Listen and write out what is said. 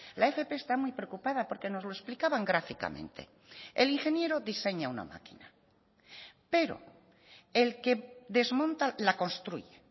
la fp está muy preocupada porque nos lo explicaban gráficamente el ingeniero diseña una máquina pero el que desmonta la construye